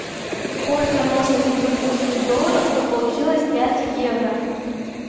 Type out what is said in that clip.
сколько нужно сингапурских долларов чтобы получилось пять евро